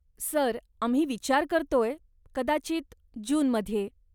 Sir, आम्ही विचार करतोय, कदाचित जूनमध्ये?